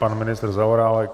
Pan ministr Zaorálek.